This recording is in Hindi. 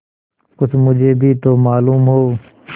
कुछ मुझे भी तो मालूम हो